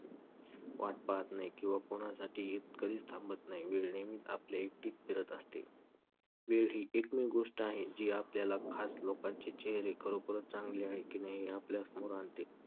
वाट पाहत नाही किंवा कोणासाठीही कधीच थांबत नाही, वेळ नेहमीच आपल्या एकटीक फिरत असते. वेळ ही एकमेव गोष्ट आहे जी आपल्याला खास लोकांचे चेहरे खरोखरच चांगले आहे की नाही हे आपल्या समोर आणते.